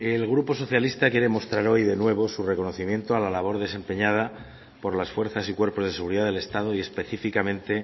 el grupo socialista quiere mostrar hoy de nuevo su reconocimiento a la labor desempeñada por las fuerzas y cuerpos de seguridad del estado y específicamente